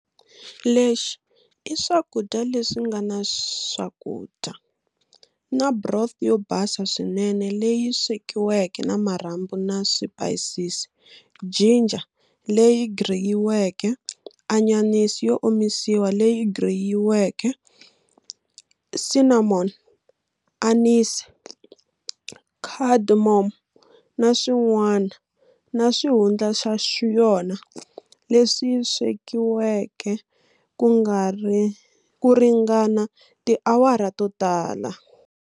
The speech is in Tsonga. Lexi i swakudya leswinga na swakudya, na broth yo basa swinene leyi swekiweke na marhambu na swipayisisi, ginger leyi griyiweke, anyanisi yo omisiwa leyi griyiweke, cinnamon, anise, cardamom, na swin'wana, na xihundla xa yona, lexi swekiweke kuringana tiawara to tala.